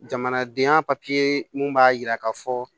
Jamanadenya mun b'a yira ka fɔ